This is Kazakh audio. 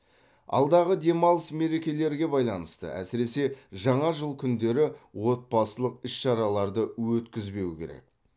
алдағы демалыс мерекелерге байланысты әсіресе жаңа жыл күндері отбасылық іс шараларды өткізбеу керек